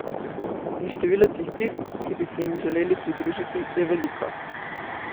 In število tistih, ki bi se jim želeli pridružiti, je veliko.